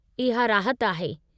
इहा राहत आहे।